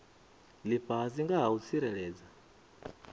lifhasi nga ha u tsireledza